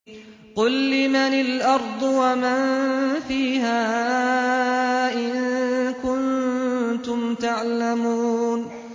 قُل لِّمَنِ الْأَرْضُ وَمَن فِيهَا إِن كُنتُمْ تَعْلَمُونَ